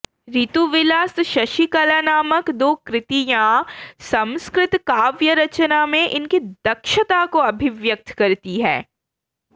ऋतुविलास शशिकला नामक दो कृतियां संस्कृत काव्य रचना में इनकी दक्षता को अभिव्यक्त करती हैं